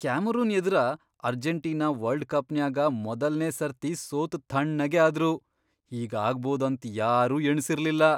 Cameron ಎದರ Argentina world ಕಪ್ನ್ಯಾಗ ಮೊದಲ್ನೇ ಸರ್ತಿ ಸೋತ್ ಥಣ್ಣಗೇ ಆದ್ರು.. ಹೀಗಾಗ್ಭೌದ್ ಅಂತ್ ಯಾರೂ ಎಣಸಿರ್ಲಿಲ್ಲ.